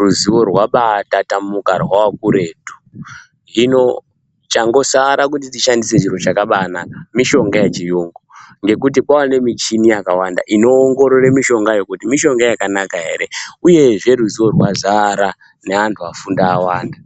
ruzivo rwabaitatamuka rwakuretu hino changosara kuti tishandise chiro chakambinaka mushonga yechiyungu ngekuti kwanemuchini yakawanda unoongorora mushongayo kuti mushonga yakanaka ere uyezve ruzivo rwazara nevandu vafunda vawanda